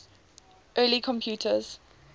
early computers